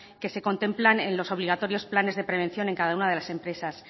que se contemplan en los obligatorios planes de prevenciones en cada una de las empresas